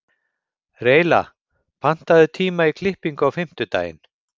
Reyla, pantaðu tíma í klippingu á fimmtudaginn.